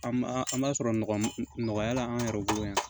An b'a an b'a sɔrɔ nɔgɔ nɔgɔya la an yɛrɛ bolo yan